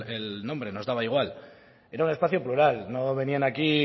el nombre nos daba igual era un espacio plural no venían aquí